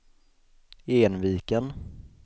Enviken